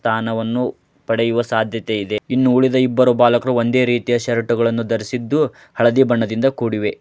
ಸ್ಥಾನವನ್ನು ಪೇದೆಯ ಸಾಧ್ಯತೆ ವಿದೇ ಇನ್ನು ಉಳಿದ ಇಬ್ಬರು ಬಾಲಕರು ಒಂದೇ ರೀತಿಯ ಶರ್ಟ್ ಗಲ್ಲನು ಧರಿಸಿದ್ದು ಹಳದಿ ಬಣ್ಣದಿಂದ ಕೂಡಿವೆ.